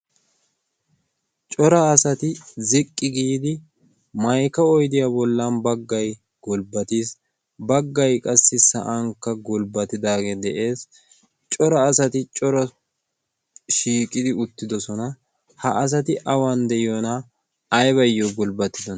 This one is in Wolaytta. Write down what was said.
cora asati ziqqi giidi maykka oyddiyaa bollan baggay gulbbatiis, baggay qassi sa'ankka gulbbatidaagee de'ees. cora asati cora shiiqidi uttidosona ha asati awan de'iyoonaa aybbayyo gulbbatidonna?